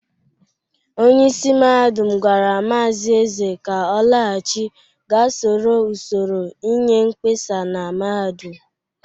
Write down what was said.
Onyeisi mahadum gwara Maazi Eze ka ọ laghachi ga soro usoro inye mkpesa na mahadum!